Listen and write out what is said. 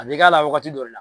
A bɛ k'a la wagati dɔ le